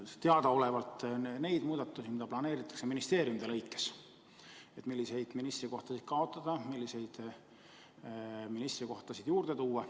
Me teame muudatusi, mida planeeritakse ministeeriumide lõikes, milliseid ministrikohtasid tahetakse kaotada, milliseid ministrikohtasid juurde luua.